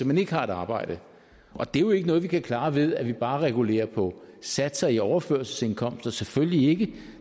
man ikke har et arbejde og det er jo ikke noget vi kan klare ved at vi bare regulerer på satserne i overførselsindkomster selvfølgelig ikke